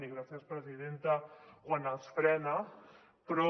i gràcies presidenta quan els frena però